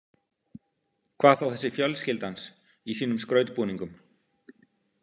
Hvað þá þessi fjölskylda hans í sínum skrautbúningum.